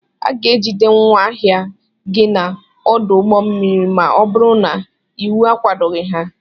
A ga-ejide ngwa ahịa gị n'ọdụ ụgbọ mmiri ma ọ bụrụ na iwu akwadoghị ha